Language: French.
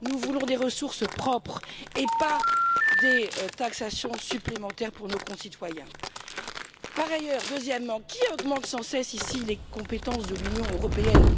Nous voulons des ressources propres et non des taxations supplémentaires pour nos concitoyens. Par ailleurs, qui augmente sans cesse ici les compétences de l'Union européenne?